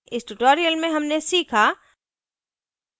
इस tutorial में हमने सीखा